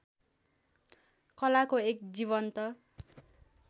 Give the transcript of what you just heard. कलाको एक जीवन्त